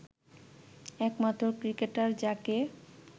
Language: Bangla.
একমাত্র ক্রিকেটার যাকে